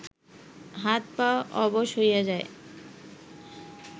হাত পা অবশ হইয়া যায়